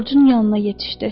Corcun yanına yetişdi.